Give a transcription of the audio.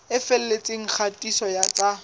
e felletseng ya kgatiso tsa